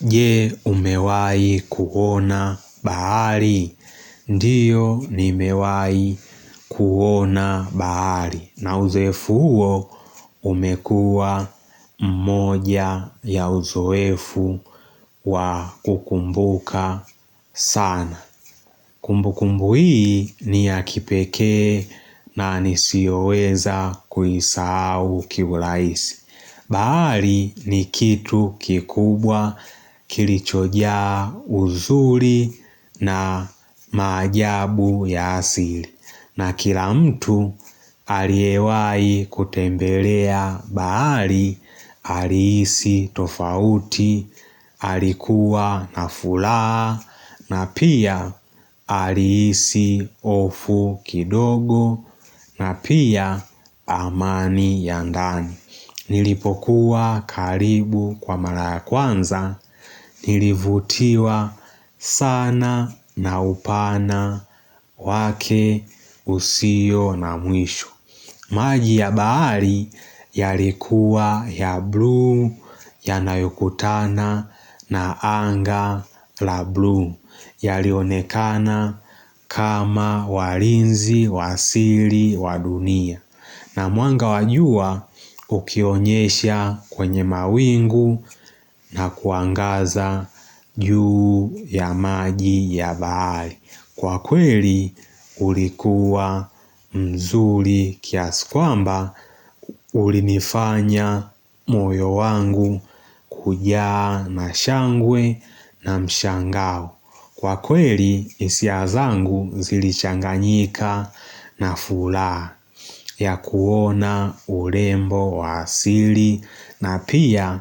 Je umewai kuona bahari. Ndiyo nimewahi kuona bahari. Na uzoefu huo umekuwa mmoja ya uzoefu wa kukumbuka sana. Kumbu kumbu hii ni ya kipekee na nisioweza kuisahau kihuraisi. Bahari ni kitu kikubwa kilichojaa uzuri na maajabu ya asili. Na kila mtu aliewai kutembelea bahari, alihisi tofauti, alikuwa nafulaa, na pia alihisi hofu kidogo, na pia amani ya ndani. Nilipokuwa karibu kwa mara ya kwanza nilivutiwa sana na upana wake usio na mwisho maji ya bahari yalikuwa ya blue yanayokutana na anga la blue yalionekana kama walinzi, wa siri, wa dunia na mwanga wajua ukionyesha kwenye mawingu na kuangaza juu ya maji ya bahari Kwa kweli ulikuwa mzuri kiasikwamba ulinifanya moyo wangu kujaa na shangwe na mshangao Kwa kweli hisia zangu zilichanganyika na furaa ya kuona urembo wasili na pia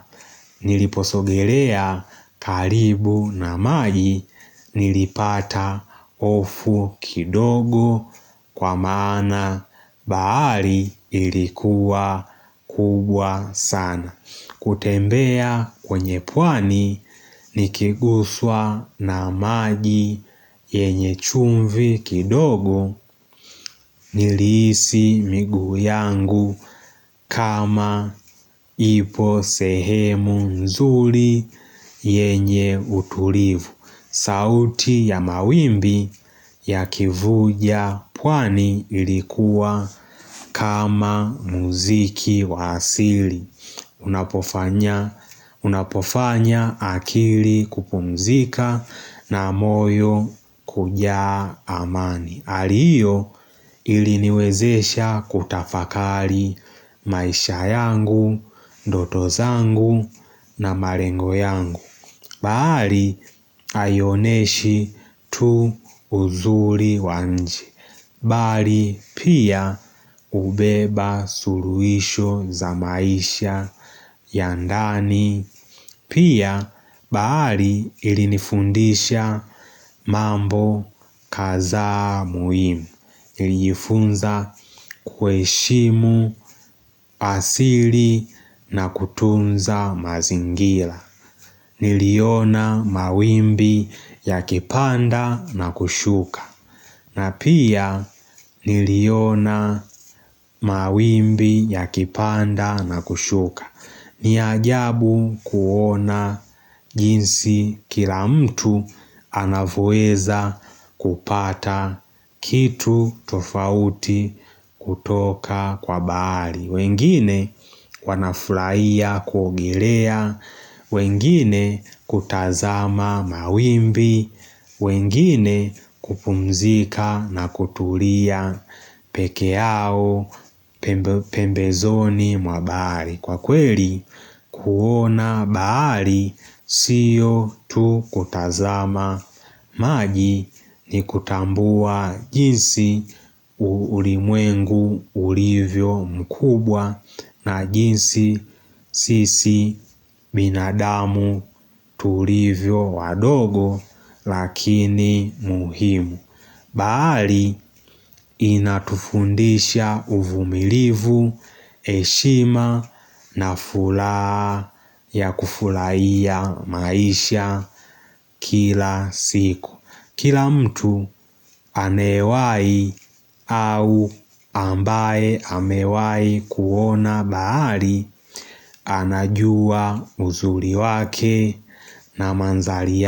niliposogelea kalibu na maji nilipata hofu kidogo kwa maana bahahi ilikuwa kubwa sana. Kutembea kwenye pwani ni kiguswa na maji yenye chumvi kidogo nilihisi miguu yangu kama ipo sehemu mzuri yenye utulivu. Sauti ya mawimbi ya kivuja pwani ilikuwa kama muziki wa asili. Unapofanya akili kupumzika na moyo kujaa amani hali hiyo iliniwezesha kutafakali maisha yangu, ndoto zangu na malengo yangu bahari aioneshi tu uzuri wa nje Bali pia hubeba suluisho za maisha ya ndani Pia baari ilinifundisha mambo kadhaa muhimu ilifunza kuheshimu asili na kutunza mazingira Niliona mawimbi ya kipanda na kushuka na pia niliona mawimbi ya kipanda na kushuka ni ajabu kuona jinsi kila mtu anavyoweza kupata kitu tofauti kutoka kwa bahari wengine wanafuraia kuogelea wengine kutazama mawimbi wengine kupumzika na kutulia peke yao pembezoni mwa bahari Kwa kweli kuona bahari siyo tu kutazama maji ni kutambua jinsi ulimwengu ulivyo mkubwa na jinsi sisi binadamu tulivyo wadogo lakini muhimu bahari inatufundisha uvumilivu heshima na furaha ya kufuraia maisha kila siku Kila mtu amewai au ambaye amewai kuona bahari anajua uzuri wake na mandhlri ya.